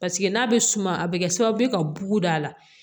Paseke n'a bɛ suma a bɛ kɛ sababu ye ka bugu da la